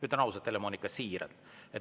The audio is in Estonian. Ütlen ausalt, Helle-Moonika, siiralt.